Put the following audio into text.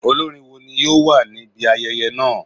Olorin wo ni yoo wa nibi ayẹyẹ naa?